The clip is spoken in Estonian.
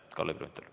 Kalle Grünthal.